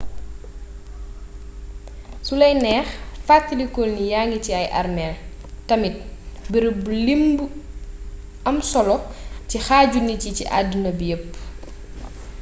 sulay neex fatalikul ni yangi ci ay arméel tamit bërëb bu limb u am solo ci xaaju nit yi ci adduna bi yepp